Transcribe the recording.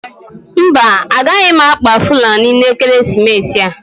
Mba, agaghị m akpa fulani n'ekeresimesi a.